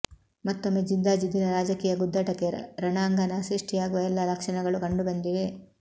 ಮತ್ತೊಮ್ಮೆ ಜಿದ್ದಾಜಿದ್ದಿನ ರಾಜಕೀಯ ಗುದ್ದಾಟಕ್ಕೆ ರಣಾಂಗಣ ಸೃಷ್ಟಿಯಾಗುವ ಎಲ್ಲ ಲಕ್ಷಣಗಳು ಕಂಡು ಬಂದಿವೆ